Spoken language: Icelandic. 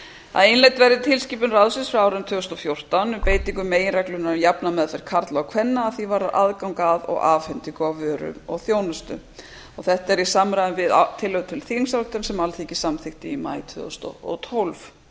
að innleidd verði tilskipun ráðsins frá árinu tvö þúsund og fjórtán um beitingu meginreglunnar um jafna meðferð karla og kvenna að því er varðar aðgang að og afhendingu á vöru og þjónustu þetta er í samræmi við tillögu til þingsályktunar sem alþingi samþykkti í maí tvö þúsund og tólf